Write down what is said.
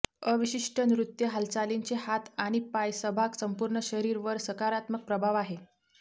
अविशिष्ट नृत्य हालचालींचे हात आणि पाय सहभाग संपूर्ण शरीर वर सकारात्मक प्रभाव आहे